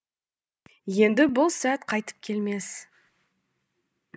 енді бұл сәт қайтып келмес